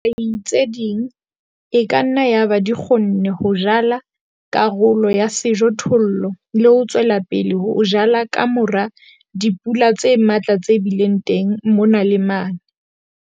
Dihwai tse ding e ka nna yaba di kgonne ho jala karolo ya sejothollo le ho tswela pele ho jala ka mora dipula tse matla tse bileng teng mona le mane.